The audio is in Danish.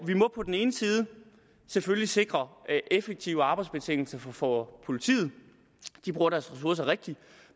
må på den ene side selvfølgelig sikre effektive arbejdsbetingelser for for politiet at de bruger deres ressourcer rigtigt